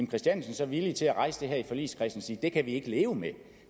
christiansen så villig til at rejse det her i forligskredsen og sige det kan vi ikke leve med